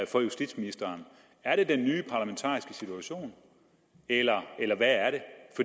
for justitsministeren er det den nye parlamentariske situation eller hvad er